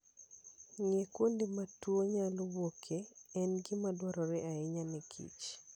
Ng'eyo kuonde ma tuwo nyalo wuokie en gima dwarore ahinya ne kich.